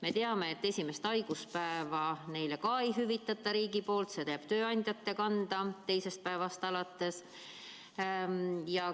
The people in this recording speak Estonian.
Me teame, et esimest haiguspäeva neile riik ei hüvita ja teisest päevast alates jääb see kulu tööandjate kanda.